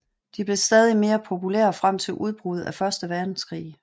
De blev stadig mere populære frem til udbruddet af første verdenskrig